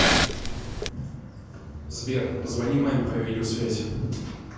сбер позвони маме по видеосвязи